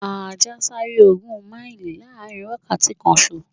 Ajá ń sáré ogún máìlì láàrin wákàtí kanṣo.